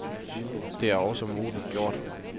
Det er også modigt gjort.